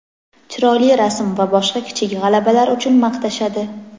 chiroyli rasm va boshqa kichik g‘alabalar uchun maqtashadi.